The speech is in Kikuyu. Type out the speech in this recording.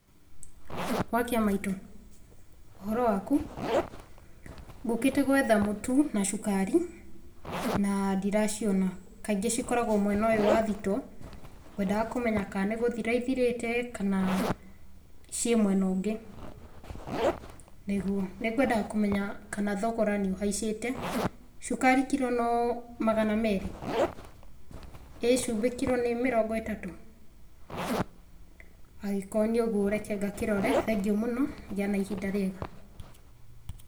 Wa kĩamaitũ? Ũhoro waku? Ngũkĩte gwetha mũtu, na cukari, na ndiraciona, kaingĩ cikoragũo mwena ũyũ wa thitoo, ngwendaga kũmenya kana nĩ gũthira ithirĩte, kana ciĩ mwena ũngĩ. Nĩguo. Nĩngũendaga kũmenya kana thogora nĩ ũhaicĩte, cukari kirũ no magana merĩ? ĩĩ cumbĩ kirũ nĩ mĩrongo ĩtatũ? Angĩkorũo nĩ ũguo reke ngakĩrore, thengio mũno, gĩa na ihinda rĩega.